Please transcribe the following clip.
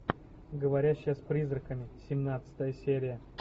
говорящая с призраками семнадцатая серия